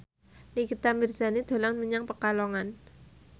Nikita Mirzani dolan menyang Pekalongan